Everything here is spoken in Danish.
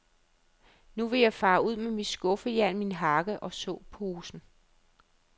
Men nu vil jeg fare ud med mit skuffejern, min hakke og såposen.